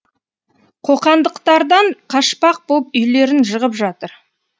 қоқандықтардан қашпақ боп үйлерін жығып жатыр